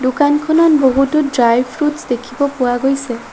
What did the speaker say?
দোকানখনত বহুতো ড্ৰাই-ফ্ৰূটছ্ দেখিব পোৱা গৈছে।